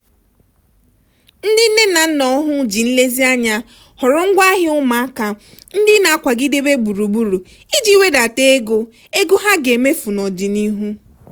ndị nne na nna ọhụụ ji nlezianya họrọ ngwaahịa ụmụaka ndị na-akwagidebe gburugburu iji wedata ego ego ha ga-emefu n'ọdịnihu.